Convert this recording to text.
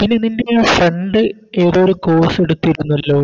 പിന്നെ നിൻറെ പെ Friend ഏതോ ഒരു Course എടുത്തിരുന്നല്ലോ